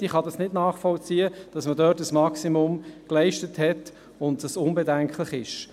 Ich kann nicht nachvollziehen, dass man dort ein Maximum geleistet hat und es unbedenklich ist.